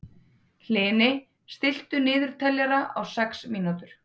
Hlini, stilltu niðurteljara á sex mínútur.